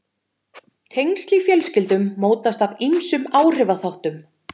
tengsl í fjölskyldum mótast af ýmsum áhrifaþáttum